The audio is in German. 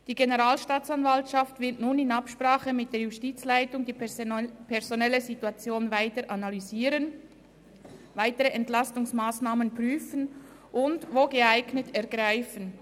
Die Generalstaatsanwaltschaft wird nun in Absprache mit der Justizleitung die personelle Situation weiter analysieren, weitere Entlastungsmassnahmen prüfen und bei Bedarf ergreifen.